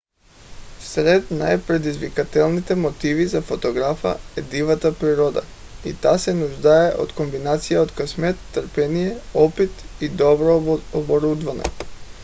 сред най - предизвикателните мотиви за фотографа е дивата природа и тя се нуждае от комбинация от късмет търпение опит и добро оборудване